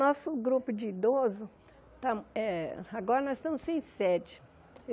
Nosso grupo de idoso, está eh agora nós estamos sem sede